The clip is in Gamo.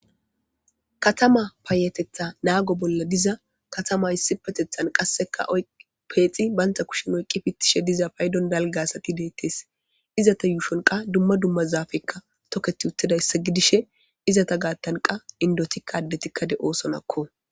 Katama paayatetha naago bolla diza katama issipetethan qasseka peexa bantha kushen oyqqi pittishe diza paydon dalga asati deettes. Izata yuushon qassi dumma dumma zaafekka toketi uttida issa gidishe, izata gaattan qassika indotikka addetikka de'oosonakko.